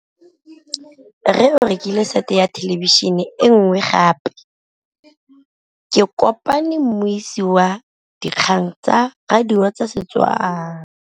Rre o rekile sete ya thêlêbišênê e nngwe gape. Ke kopane mmuisi w dikgang tsa radio tsa Setswana.